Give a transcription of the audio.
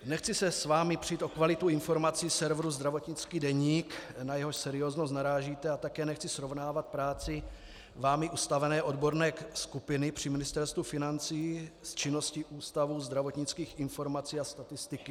Nechci se s vámi přít o kvalitu informací serveru Zdravotnický deník, na jehož serióznost narážíte, a také nechci srovnávat práci vámi ustavené odborné skupiny při Ministerstvu financí s činností Ústavu zdravotnických informací a statistiky.